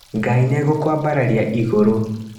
Ngai nĩ egũkwambararia igũrũ.